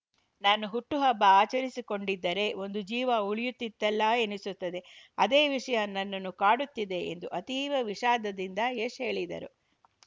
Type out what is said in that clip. ನಾನು ಹುಟ್ಟುಹಬ್ಬ ಆಚರಿಸಿಕೊಂಡಿದ್ದರೆ ಒಂದು ಜೀವ ಉಳಿಯುತ್ತಿತ್ತಲ್ಲಾ ಎನಿಸುತ್ತಿದೆ ಅದೇ ವಿಷಯ ನನ್ನನ್ನು ಕಾಡುತ್ತಿದೆ ಎಂದು ಅತೀವ ವಿಷಾದದಿಂದ ಯಶ್‌ ಹೇಳಿದರು